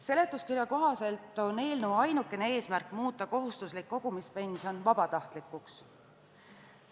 Seletuskirja kohaselt on eelnõu ainukene eesmärk muuta kohustuslik kogumispension vabatahtlikuks.